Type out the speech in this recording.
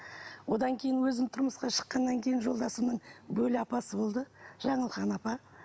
одан кейін өзім тұрмысқа шыққаннан кейін жолдасымның бөле апасы болды жанылқан апа